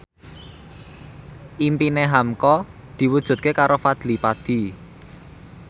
impine hamka diwujudke karo Fadly Padi